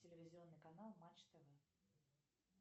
телевизионный канал матч тв